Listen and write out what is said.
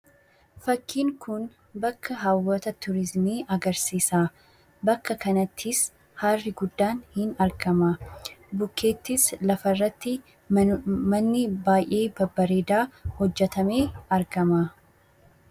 Fakkiin kun bakka hawwata turiizimii agarsiisa. Bakka kanattis harri guddaan ni argama . Bukkeettis lafarratti manni baay'ee babbareedaa hojjetamee argama.